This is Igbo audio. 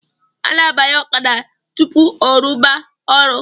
A na-abanye ọkada tupu ọrụba ọrụ